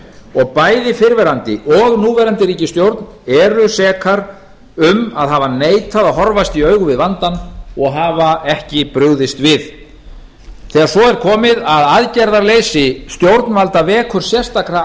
og bæði fyrrverandi og núverandi ríkisstjórn eru sekar um að hafa neitað að horfast í augu við vandann og hafa ekki brugðist við þegar svo er komið að aðgerðarleysi stjórnvalda vekur sérstaka